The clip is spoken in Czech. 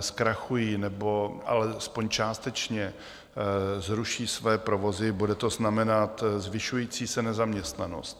zkrachují, nebo alespoň částečně zruší své provozy, bude to znamenat zvyšující se nezaměstnanost.